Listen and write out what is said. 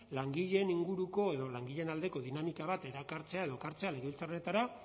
langileen inguruko edo langileen aldeko dinamika bat erakartzea edo ekartzea legebiltzarretara